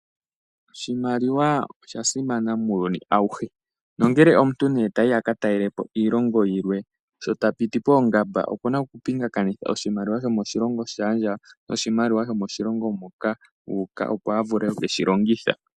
Oshimaliwa osha simana muuyuni auhe, nongele omuntu tayi a katalelapo iilongo yilwe sho tapiti poongamba okuna okupingakanitha oshimaliwa sho moshilongo shaandjawo noshimaliwa sho moshilongo moka uuka opo a vule ku keyilongitha.